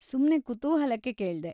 ಸುಮ್ನೆ ಕುತೂಹಲಕ್ಕೆ ಕೇಳ್ದೆ.